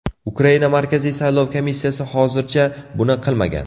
Ukraina Markaziy saylov komissiyasi hozircha buni qilmagan.